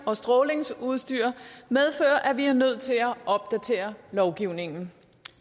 og strålingsudstyr medfører at vi er nødt til at få opdateret lovgivningen